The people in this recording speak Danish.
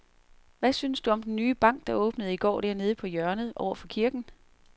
Hvad synes du om den nye bank, der åbnede i går dernede på hjørnet over for kirken?